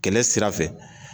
Kɛlɛ sira fɛ